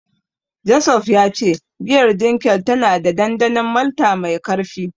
Joseph ya ce giyar Dunkel tana da dandanon malta mai karfi.